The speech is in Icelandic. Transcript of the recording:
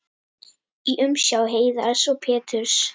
í umsjá Heiðars og Péturs.